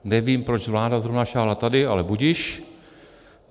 Nevím, proč vláda zrovna sáhla tady, ale budiž.